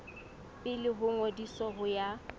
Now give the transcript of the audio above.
pele ho ngodiso ho ya